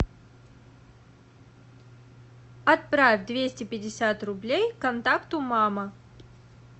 отправь двести пятьдесят рублей контакту мама